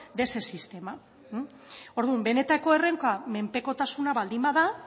de ese sistema orduan benetako erronka menpekotasuna baldin bada